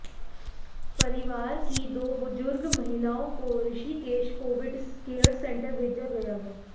परिवार की दो बुजुर्ग महिलाओं को ऋषिकेश कोविड केयर सेंटर भेजा गया है